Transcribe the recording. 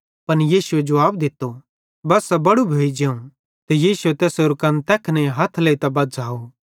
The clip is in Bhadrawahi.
पन यीशुए जुवाब दित्तो बस्सा बड़ू भोइ जेवं ते यीशुए तैसेरो कन्न तैखने हथ लेइतां बझ़ाव